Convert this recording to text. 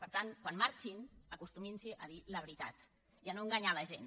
per tant quan marxin acostumin se a dir la veritat i a no enganyar la gent